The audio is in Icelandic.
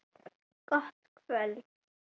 Gott kvöld!